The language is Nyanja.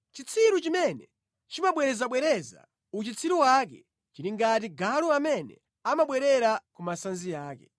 Chitsiru chimene chimabwerezabwereza uchitsiru wake chili ngati galu amene amabwerera ku masanzi ake.